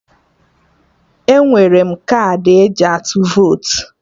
Enwere m kaadị eji atụ votu